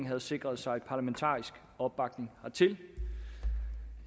havde sikret sig en parlamentarisk opbakning hertil det